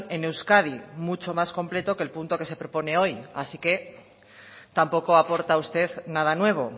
en euskadi mucho más completo que el punto que se propone hoy así que tampoco aporta usted nada nuevo